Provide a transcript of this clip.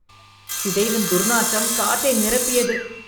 சிதைவின் துர்நாற்றம் காற்றை நிரப்பியது